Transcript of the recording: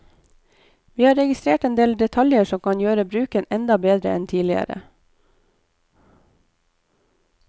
Vi har registrert en del detaljer som kan gjøre bruken enda bedre enn tidliger.